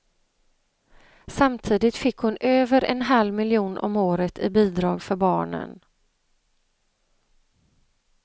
Samtidigt fick hon över en halv miljon om året i bidrag för barnen.